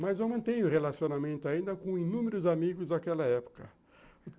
Mas eu mantenho o relacionamento ainda com inúmeros amigos daquela época.